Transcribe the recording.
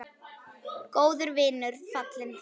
Góður vinur fallinn frá.